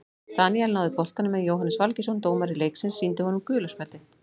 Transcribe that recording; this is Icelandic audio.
Daníel náði boltanum en Jóhannes Valgeirsson dómari leiksins sýndi honum gula spjaldið.